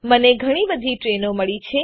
મને ઘણી બધી ટ્રેઇનો મળી છે